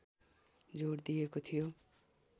जोड दिइएको थियो